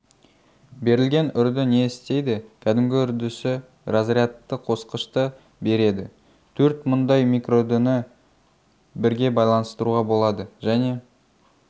берілген үрді не істейді кәдімгі үрдісі разрядты қосқышты береді төрт мұндай микроүрдіні бірге байланыстыруға болады және